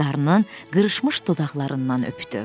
Qarnın qırışmış dodaqlarından öptü.